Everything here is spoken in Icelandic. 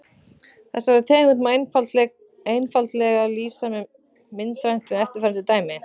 Þessari tegund einfaldleika má lýsa myndrænt með eftirfarandi dæmi.